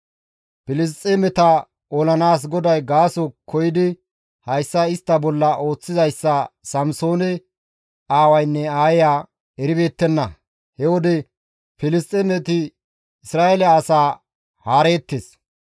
Filisxeemeta olanaas GODAY gaaso koyidi hayssa istta bolla ooththizayssa Samsoone aawaynne aayeya eribeettenna; he wode Filisxeemeti Isra7eele asaa haareettes.